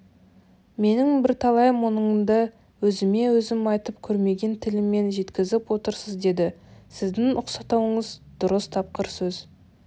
менің бірталай мұңымды өзіме өзім айтып көрмеген тілмен жеткізіп отырсыз деді сіздің ұқсатуыңыз дұрыс тапқыр сөз